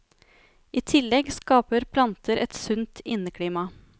I tillegg skaper planter et sunt inneklima.